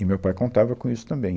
E o meu pai contava com isso também.